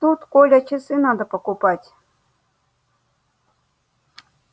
тут коля часы надо покупать